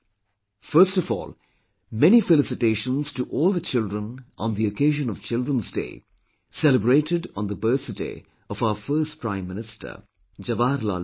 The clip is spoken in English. First of all, many felicitations to all the children on the occasion of Children's Day celebrated on the birthday of our first Prime Minister Jawaharlal Nehru ji